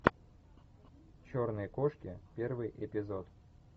черные кошки первый эпизод